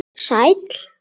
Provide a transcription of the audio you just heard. Sæll